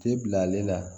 Te bila ale la